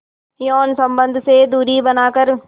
यौन संबंध से दूरी बनाकर